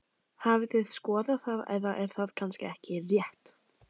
Hafið þið skoðað það eða er það kannski ekki rétt?